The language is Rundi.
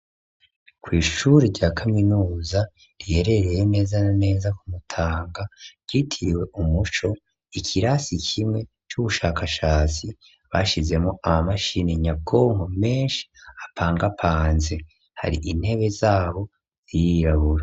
kw' ishuri rya kaminuza riherereye neza neza ku Mutanga yitiriwe Umuco, ikirasi kimwe c'ubushakashatsi bashizemwo ama mashini nyakonko menshi apangapanze, hari intebe zabo zirirabura.